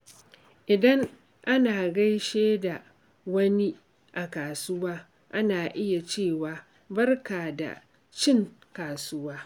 Idan ana gaishe da wani a kasuwa, ana iya cewa "Barka da cin kasuwa."